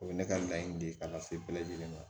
O bɛ ne ka laɲini de ka na se bɛɛ lajɛlen ma